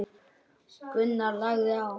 Gunnar lagði á.